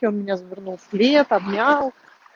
он меня завернул в плед обнял